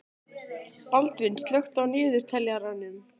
Baldvin, slökktu á niðurteljaranum.